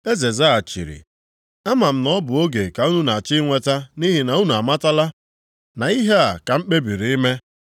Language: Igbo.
Eze zaghachiri, “Ama m na ọ bụ oge ka unu na-achọ inweta nʼihi na unu amatala na ihe a ka m kpebiri ime.